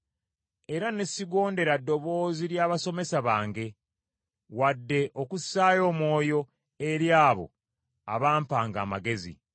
era ne sigondera ddoboozi ly’abasomesa bange, wadde okussaayo omwoyo eri abo abampanga amagezi.